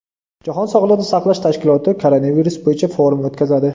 Jahon sog‘liqni saqlash tashkiloti koronavirus bo‘yicha forum o‘tkazadi.